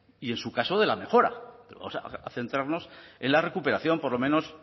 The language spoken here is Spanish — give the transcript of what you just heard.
y en su caso de la mejora o sea vamos a centrarnos en la recuperación por lo menos